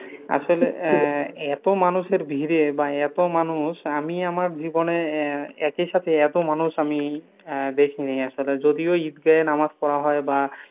আসলে অ্যা এত মানুষের ভিড়ে বা এত মানুষ আমি আমার জীবনে আহ একি সাথে এত মানুষ আমি আহ দেখিনি আসলে যদি ঐ ঈদগাহে নামাজ পড়া হয় বা,